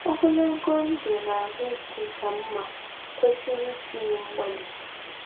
Ogologo ndụ ahụike ka mma kwesịrị itinye mgbalị. ”